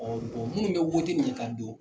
minnu bɛ wote ni ye ka don.